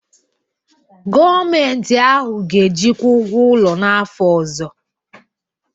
Gọọmenti ahụ ga-ejikwa ụgwọ ụlọ n'afọ ọzọ